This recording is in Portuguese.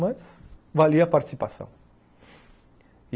Mas valia a participação.